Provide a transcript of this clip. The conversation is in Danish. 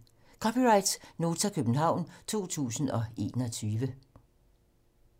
(c) Nota, København 2021